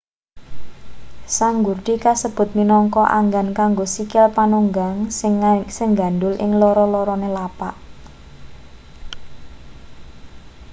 sanggurdi kasebut minangka anggan kanggo sikil panunggang sing nggandul ing loro-lorone lapak